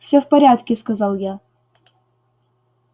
всё в порядке сказал я